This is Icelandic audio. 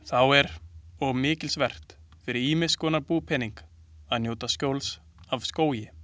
Þá er og mikilsvert fyrir ýmiss konar búpening að njóta skjóls af skógi.